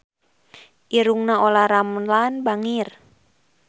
Irungna Olla Ramlan bangir